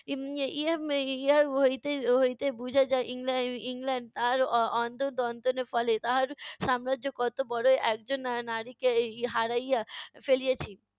ইহা ইহার হইতে হইতে বুঝা যায় ইংল্যা~ ইংল্যান্ডের তাহার অ~ অন্তর দন্তনের ফলে তাহার সাম্রাজ্য কত বড় একজন নারীকে হারাইয়া ফেলিয়েছি।